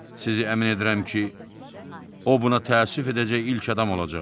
Sizi əmin edirəm ki, o buna təəssüf edəcək ilk adam olacaq.